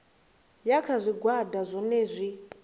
ya kha zwigwada zwohe zwi